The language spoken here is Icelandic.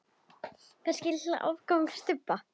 Kannski litla afgangs stubba.